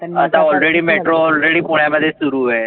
आता already metro already पुण्यामध्ये सुरु आहे.